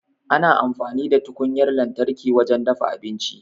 Ana amfani da tukunyar lantarki wajen dafa abinci.